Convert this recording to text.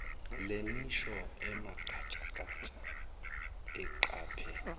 nemisho emagatshagatsha eqaphe